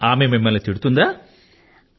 ఆమె మందలిస్తూ ఉంటారు కూడా అనుకుంటాను